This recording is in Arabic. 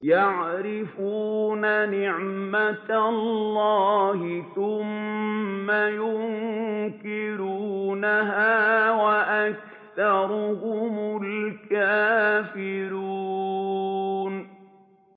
يَعْرِفُونَ نِعْمَتَ اللَّهِ ثُمَّ يُنكِرُونَهَا وَأَكْثَرُهُمُ الْكَافِرُونَ